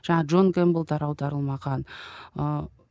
джон кэмпбеллдар аударылмаған ыыы